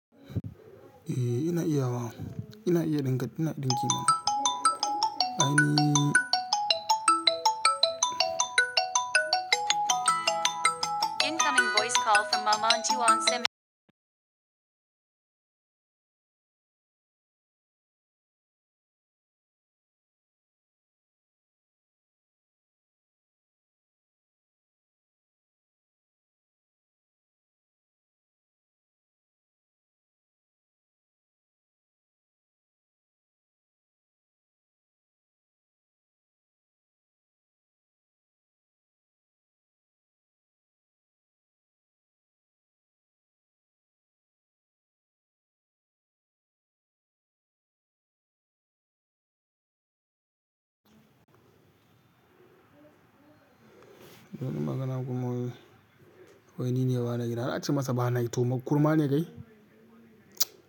Eh ina iya wa. Ina iya dinka, ina dinki ma. Ai ni Incoming voice call from Mamantiwangsime. Zan magana kuma wai, wai ni ne bana gida. Nace masa bana yi to ma kurma ne kai?